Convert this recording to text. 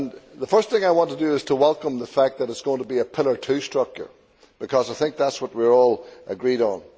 The first thing I want to do is to welcome the fact that it is going to be a Pillar Two structure, because I think that is what we are all agreed on.